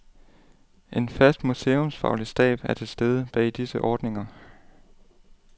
En fast, museumsfaglig stab er til stede bag disse ordninger.